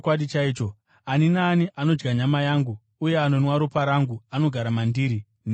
Ani naani anodya nyama yangu uye anonwa ropa rangu anogara mandiri, neni maari.